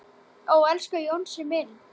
Ó, elsku Jónsi minn.